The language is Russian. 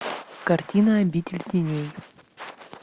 картина обитель теней